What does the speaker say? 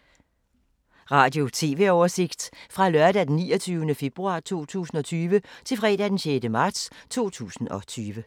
Radio/TV oversigt fra lørdag d. 29. februar 2020 til fredag d. 6. marts 2020